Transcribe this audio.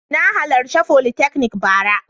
Na halarci folytechnic bara.